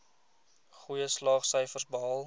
goeie slaagsyfers behaal